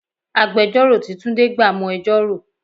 Agbẹjoro tí túndé gbà mo ẹjọ́ rò.